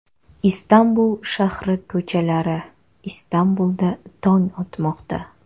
Istanbul shahri ko‘chalari Istanbulda tong otmoqda.